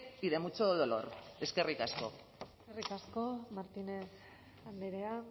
y de mucho dolor eskerrik asko eskerrik asko martínez andrea